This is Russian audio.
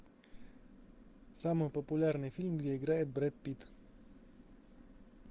самый популярный фильм где играет брэд питт